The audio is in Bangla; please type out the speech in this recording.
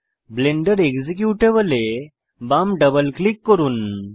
ব্লেন্ডার এক্সিকিউটেবল এ বাম ডাবল ক্লিক করুন